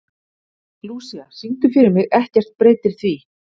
Lúísa, syngdu fyrir mig „Ekkert breytir því“.